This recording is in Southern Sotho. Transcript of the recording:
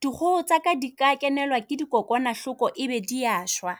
dikgoho tsaka di ka kenelwa ke di kokwanahloko e be dias hwa.